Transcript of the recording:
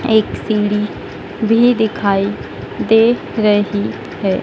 एक सीढ़ी भी दिखाई दे रही है।